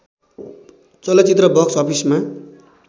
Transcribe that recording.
चलचित्र बक्स अफिसमा